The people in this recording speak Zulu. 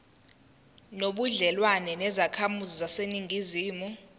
nobudlelwane nezakhamizi zaseningizimu